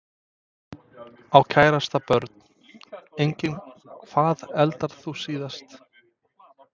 Á kærasta Börn: Engin Hvað eldaðir þú síðast?